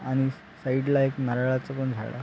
आणि साइडला एक नारळाच पण झाड--